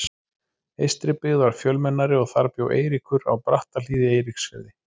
Eystribyggð var fjölmennari og þar bjó Eiríkur, á Brattahlíð í Eiríksfirði.